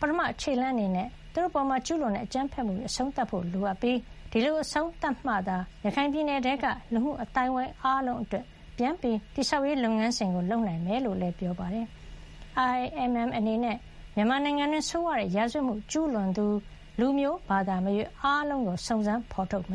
ပထမခြေလှမ်း အနေနဲ့ သူတို့အပေါ်ကျူးလွန်တဲ့ အကြမ်းဖက်မှုတွေ အဆုံးသတ်ဖို့ လိုအပ်ပြီး ဒီလို အဆုံးသတ်မှသာ ရခိုင်ပြည်နယ်ထဲက လူမှု အသိုင်းဝိုင်း အားလုံး အတွက် ပြန်လည်တည်ဆောက်ရေး လုပ်ငန်းစဉ်ကို လုပ်ဆောင်နိုင်မှာ ဖြစ်ကြောင်းလည်း ပြောပါတယ်။ IIMM အနေနဲ့ မြန်မာနိုင်ငံတွင်း ဆိုးဝါးတဲ့ ရာဇဝတ်မှု ကျူးလွန်သူ လူမျိုးဘာသာမရွေး အားလုံးကို စုံစမ်းဖေါ်ထုတ်မ